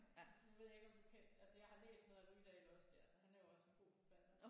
Nu ved jeg ikke om du kend altså jeg har læst noget af Rydahl også det er altså han er jo også en god forfatter